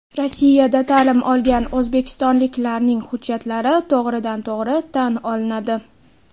Rossiyada ta’lim olgan o‘zbekistonliklarning hujjatlari to‘g‘ridan to‘g‘ri tan olinadi.